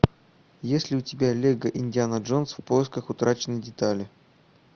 есть ли у тебя лего индиана джонс в поисках утраченной детали